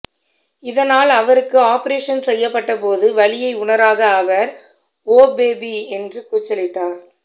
இதனால் அவருக்கு ஆபரேஷன் செய்யப்பட்ட போது வலியை உணராத அவர் ஓ பேபி என்று கூச்சலிட்டார்